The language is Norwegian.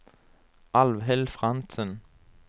Alvhild Frantzen